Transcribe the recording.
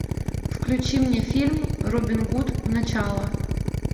включи мне фильм робин гуд начало